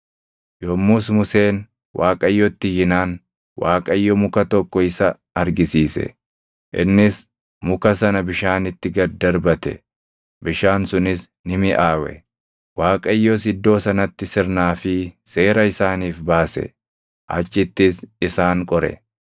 Yommus Museen Waaqayyotti iyyinaan, Waaqayyo muka tokko isa argisiise. Innis muka sana bishaanitti gad darbate; bishaan sunis ni miʼaawe. Waaqayyos iddoo sanatti sirnaa fi seera isaaniif baase; achittis isaan qore.